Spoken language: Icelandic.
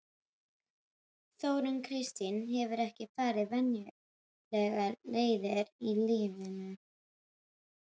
Þórunn Kristín hefur ekki farið venjulegar leiðir í lífinu.